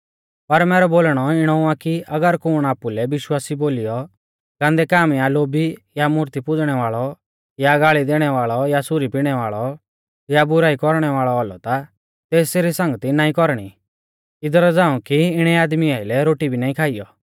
पर मैरौ बोलणौ इणौ आ कि अगर कुण आपुलै विश्वासी बोलीयौ गान्दै काम या लोभी या मूर्ती पुज़णै वाल़ौ या गाल़ी दैणै वाल़ौ या सुरी पिणै वाल़ौ या बुराई कौरणै वाल़ौ औलौ ता तेसरी संगती नाईं कौरणी इदरा झ़ांऊ कि इणै आदमी आइलै रोटी भी ना खाइयौ